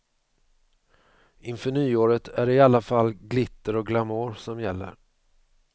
Inför nyåret är det i alla fall glitter och glamour som gäller.